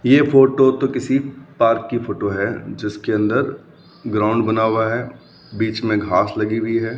यह फोटो तो किसी पार्क की फोटो है जिसके अंदर ग्राउंड बना हुआ है बीच में घास लगी हुई है।